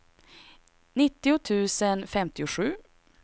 nittio tusen femtiosju